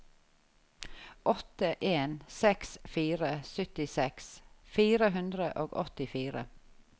åtte en seks fire syttiseks fire hundre og åttifire